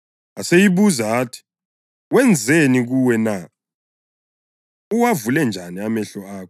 Aseyibuza athi, “Wenzeni kuwe na? Uwavule njani amehlo akho?”